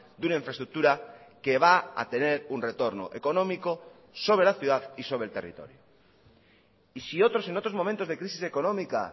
de una infraestructura que va a tener un retorno económico sobre la ciudad y sobre el territorio y si otros en otros momentos de crisis económica